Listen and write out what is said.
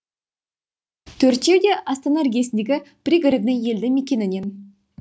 төртеуі де астана іргесіндегі пригородный елді мекенінен